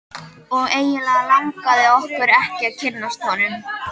Og eiginlega langaði okkur ekki að kynnast honum.